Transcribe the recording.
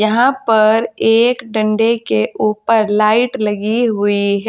यहां पर एक डंडे के ऊपर लाइट लगी हुई है।